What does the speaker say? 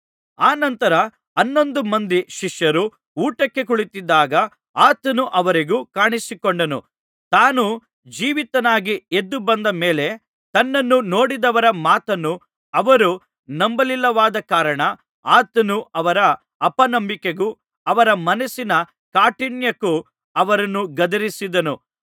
ಅನಂತರ ಹನ್ನೊಂದು ಮಂದಿ ಶಿಷ್ಯರು ಊಟಕ್ಕೆ ಕುಳಿತಿದ್ದಾಗ ಆತನು ಅವರಿಗೂ ಕಾಣಿಸಿಕೊಂಡನು ತಾನು ಜೀವಿತನಾಗಿ ಎದ್ದು ಬಂದ ಮೇಲೆ ತನ್ನನ್ನು ನೋಡಿದವರ ಮಾತನ್ನು ಅವರು ನಂಬಲಿಲ್ಲವಾದ ಕಾರಣ ಆತನು ಅವರ ಅಪನಂಬಿಕೆಗೂ ಅವರ ಮನಸ್ಸಿನ ಕಾಠಿಣ್ಯಕ್ಕೂ ಅವರನ್ನು ಗದರಿಸಿದನು